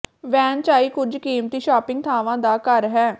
van Chai ਕੁਝ ਕੀਮਤੀ shopping ਥਾਵਾਂ ਦਾ ਘਰ ਹੈ